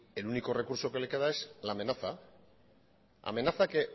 el único recurso que le queda es la amenaza la amenaza que